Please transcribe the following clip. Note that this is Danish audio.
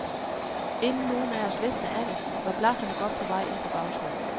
Inden nogen af os vidste af det, var blafferne godt på vej ind på bagsædet.